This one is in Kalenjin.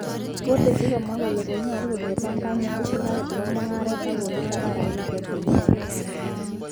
Kiteschi komwa Kanyalu kole kogere panganutil serkalit eng mungaret, kende tapan rabisirk ak chenyoru.